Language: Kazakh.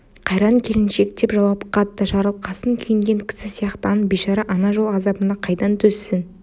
қайран келіншек деп жауап қатты жарылқасын күйінген кісі сияқтанып бейшара ана жол азабына қайдан төзсін